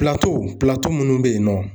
minnu bɛ yen nɔ